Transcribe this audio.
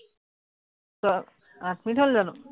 আহ আঠ মিনিট হল জানো?